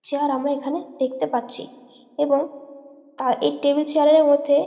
chair আমরা এইখানে দেখতে পাচ্ছি এবং তা এই টেবিল চেয়ার এর মধ্যে --